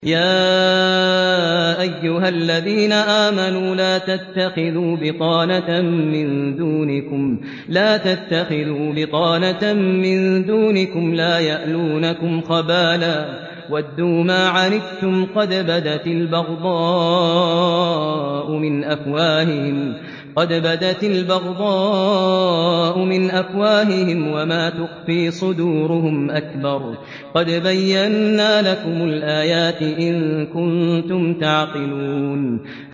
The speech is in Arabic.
يَا أَيُّهَا الَّذِينَ آمَنُوا لَا تَتَّخِذُوا بِطَانَةً مِّن دُونِكُمْ لَا يَأْلُونَكُمْ خَبَالًا وَدُّوا مَا عَنِتُّمْ قَدْ بَدَتِ الْبَغْضَاءُ مِنْ أَفْوَاهِهِمْ وَمَا تُخْفِي صُدُورُهُمْ أَكْبَرُ ۚ قَدْ بَيَّنَّا لَكُمُ الْآيَاتِ ۖ إِن كُنتُمْ تَعْقِلُونَ